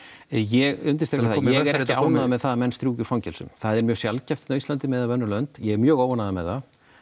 ég undirstrika það að ég er ekki ánægður með það að menn strjúki úr fangelsum það er mjög sjaldgæft hérna á Íslandi miðað við önnur lönd ég er mjög óánægður með það